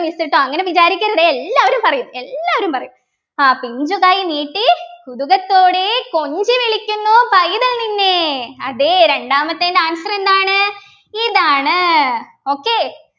miss ട്ടോ അങ്ങനെ വിചാരിക്കരുതേ എല്ലാരും പറയും എല്ലാരും പറയും ആഹ് പിഞ്ചുകൈ നീട്ടിക്കുതുകത്തോടെ കൊഞ്ചിവിളിക്കുന്നു പൈതൽ നിന്നെ അതെ രണ്ടാമത്തെൻ്റെ answer എന്താണ് ഇതാണ് okay